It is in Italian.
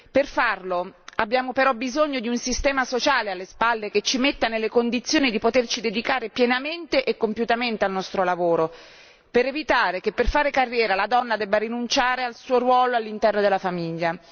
Per farlo abbiamo però bisogno di un sistema sociale alle spalle che ci metta nelle condizioni di poterci dedicare pienamente e compiutamente al nostro lavoro, per evitare che per fare carriera la donna debba rinunciare al suo ruolo all'interno della famiglia.